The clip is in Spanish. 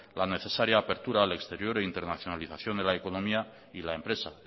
la necesaria apertura al exterior e internacionalización de la economía y la empresa